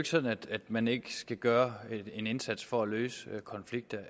sådan at man ikke skal gøre en indsats for at løse konflikter